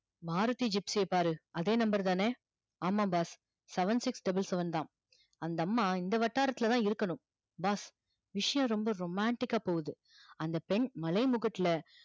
Maruti gypsy ய பாரு அதே number தான ஆமா boss seven six double seven தா அந்த அம்மா எந்த வட்டாரத்துல தா இருக்கணும் boss விஷயம் ரொம்ப romantic கா போகுது அந்த பெண் மலை முக்குட்டுல